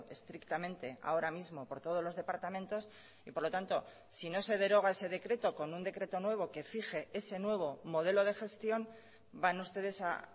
estrictamente ahora mismo por todos los departamentos y por lo tanto si no se deroga ese decreto con un decreto nuevo que fije ese nuevo modelo de gestión van ustedes a